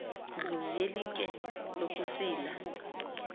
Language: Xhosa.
ndlu yelitye lokusila